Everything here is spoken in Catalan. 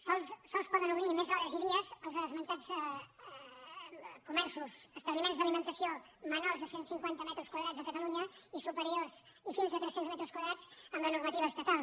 sols poden obrir més hores i dies els esmentats establiments d’alimentació menors de cent cinquanta metres quadrats a catalunya i fins a tres cents metres quadrats amb la normativa estatal